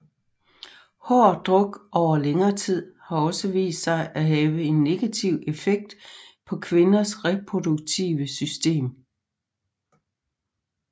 Hård druk over længere tid har også vist sig at have en negativ effekt på kvinders reproduktive system